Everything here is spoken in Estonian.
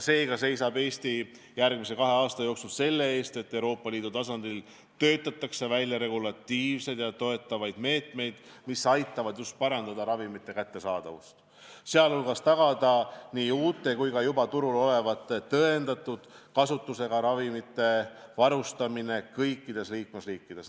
Seega seisab Eesti järgmise kahe aasta jooksul selle eest, et Euroopa Liidu tasandil töötataks välja regulatiivseid ja toetavaid meetmeid, mis aitavad parandada ravimite kättesaadavust, sh tagada nii uute kui ka juba turul olevate tõendatud kasutusega ravimitega varustamist kõikides liikmesriikides.